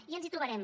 i ens hi trobarem